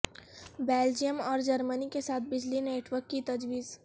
Belgium اور جرمنی کے ساتھ بجلی نیٹ ورک کی تجویز